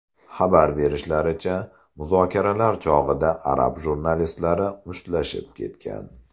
Xabar berishlaricha, muzokaralar chog‘ida arab jurnalistlari mushtlashib ketgan .